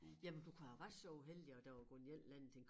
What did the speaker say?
Jamen du kunne have været så uheldig at der var gået en eller anden ting